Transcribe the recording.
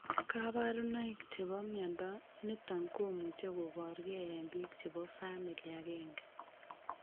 kabarunaik chebo mnyondo niton komuche kobor gee en biik chebo family agenge